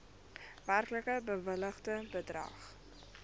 werklik bewilligde bedrag